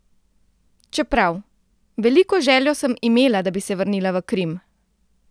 Čeprav: "Veliko željo sem imela, da bi se vrnila v Krim.